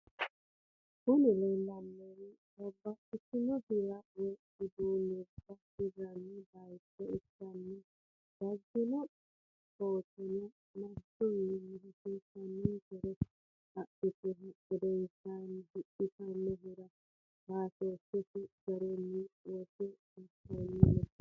Kuni lelanowi babatitino hirra woy udunuba hireani bayicho ikana dagino bettono manchuniwini hassisanksere hedhituhu gedenisanni hidhitinohura batoshshisi garinni wotte batanni no.